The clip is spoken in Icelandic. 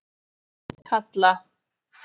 Kalla